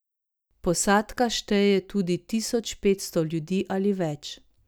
Posadka šteje tudi tisoč petsto ljudi ali več.